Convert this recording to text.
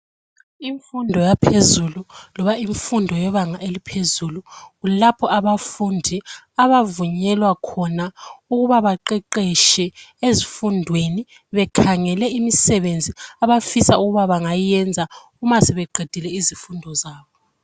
Imfundo yaphezulu loba imfundo yebanga laphezulu kulapho abafundi abavunyelwa khona ukuba baqeqeshe ezifundweni bekhangele imisebenzi abafisa ukuba bangayenze uma sebeqedile izifundo zabo.